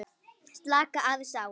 Slaka aðeins á.